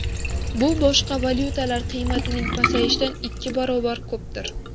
Bu boshqa valyutalar qiymatining pasayishidan ikki barobar ko‘pdir.